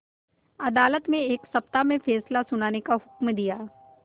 अदालत ने एक सप्ताह में फैसला सुनाने का हुक्म दिया